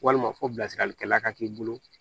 Walima fo bilasiralikɛla ka k'i bolo